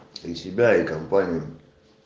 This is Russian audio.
ты себя и компания